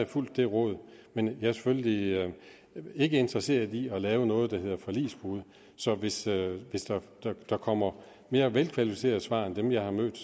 fulgt det råd men jeg er selvfølgelig ikke interesseret i at lave noget der hedder forligsbrud så hvis der kommer mere velkvalificerede svar end dem jeg har mødt